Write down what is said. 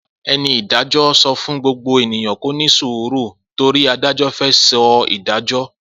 Eni Ìdájọ so fún gbogbo eniyan kó ni isiru tori adajo fe so ìdájọ